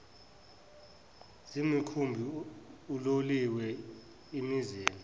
zemikhumbi uloliwe imizila